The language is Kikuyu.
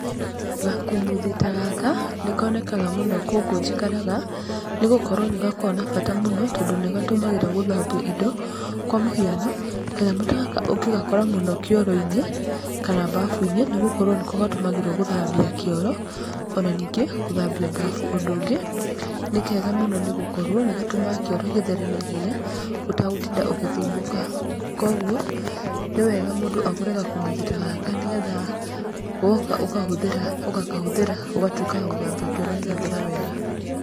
Gakumuthi ta gaka nĩ konekaga mũno gũkũ njikaraga, nĩ gũkorwo nĩ gakoragwo na bata mũno tondũ nĩ gatũmagĩrwo gũthambia indo, kwa mũhiano, kanyamũ ta gaka ũngĩgakora mũno kĩoro-inĩ kana babu-inĩ, nĩ gũkorwo nĩko gatũmagĩrwo gũthambia kĩoro, ona ningĩ gũthambia babu, ũndũ ũngĩ nĩ kega mũno nĩgũkorwo nĩ gatũmaga kĩoro gĩthere naihenya ũtagũtinda ũgĩthumbũka, koguo nĩ wega mũndũ agũre gakumuthi ta gaka nĩgetha woka ũkahũthĩra ũgakahũthĩra ũgatwĩka wa gũthambia kĩoro gĩgathera wega.